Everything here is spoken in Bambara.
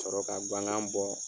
sɔrɔ ka guwangan bɔ